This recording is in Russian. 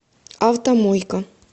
автомойка